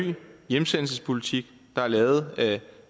hjemsendelsespolitik der er lavet